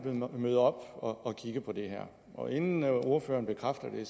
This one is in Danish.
møde op og kigge på det her og inden ordføreren bekræfter det